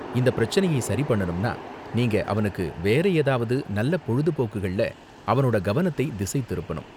இந்த பிரச்சனையை சரி பண்ணணும்னா நீங்க அவனுக்கு வேற ஏதாவது நல்ல பொழுபோக்குகள்ல அவனோட கவனத்தை திசை திருப்பனும்.